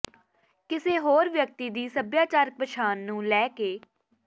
ਕਿਸੇ ਹੋਰ ਵਿਅਕਤੀ ਦੀ ਸੱਭਿਆਚਾਰਕ ਪਛਾਣ ਨੂੰ ਲੈ ਕੇ